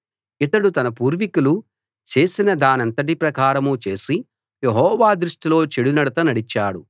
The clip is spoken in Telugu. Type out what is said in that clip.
ఇతడు తన పూర్వికులు చేసినదానంతటి ప్రకారం చేసి యెహోవా దృష్టిలో చెడునడత నడిచాడు